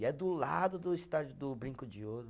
E é do lado do estádio do Brinco de Ouro.